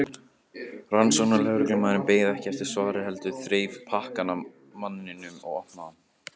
Rannsóknarlögreglumaðurinn beið ekki eftir svari heldur þreif pakkann af manninum og opnaði hann.